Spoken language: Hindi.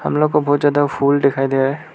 हम लोग को बहुत ज्यादा फूल दिखाई दे रहा है।